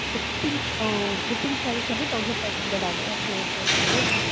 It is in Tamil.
அஹ் fitting charge வந்து thousand five hundred ஆகும் okay okay okay